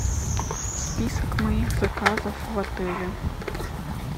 список моих заказов в отеле